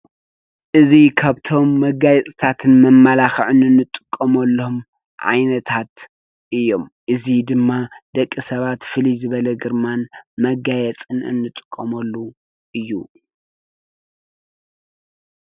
እዚ ካብቶም መጋየፅታትን መማላክዕን እንጥቀመሎም ዓይነታት እዮም። እዙይ ድማ ደቂ ሰባት ፍልይ ዝበለ ግርማን መጋየፅን እንጥቀመሉ እዩ።